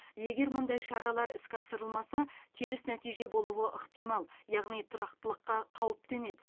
егер мұндай шаралар іске асырылмаса теріс нәтиже болуы ықтимал яғни тұрақтылыққа қауіп төнеді